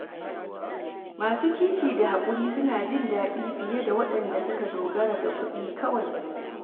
Masu kishi da hakuri suna jin daɗi fiye da waɗanda suka dogara ga kuɗi kawai.